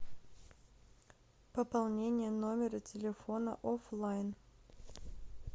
пополнение номера телефона оффлайн